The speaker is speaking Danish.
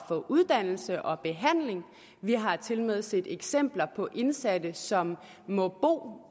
få uddannelse og behandling vi har tilmed set eksempler på indsatte som må